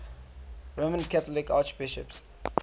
roman catholic archbishops